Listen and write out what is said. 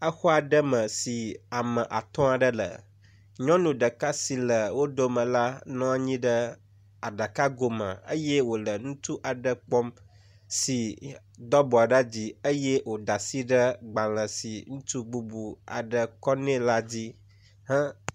Exɔ aɖe me si ame atɔ̃ aɖe le, me nyɔnu ɖeka si le wo dome la, nɔ anyi ɖe aɖakago me eye wòle ŋutsu aɖe kpɔm si do abɔ ɖe dzi eye wòda asi ɖe agbalẽ si ŋutsu bubu aɖe kɔ nɛ la dzi.